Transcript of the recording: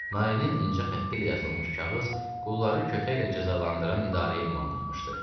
Marinin incə xəttilə yazılmış kağız qulları kötəklə cəzalandıran idarəyə ünvanlanmışdı.